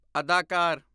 ਅਦਾਕਾਰ